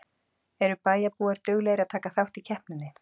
Eru bæjarbúar duglegir að taka þátt í keppninni?